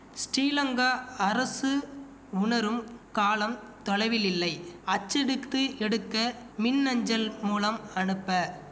ஸ்டீலங்கா அரசு உணரும் காலம் தொலைவில்லில்லை அச்சடித்து எடுக்க மின் அஞ்சல் மூலம் அனுப்ப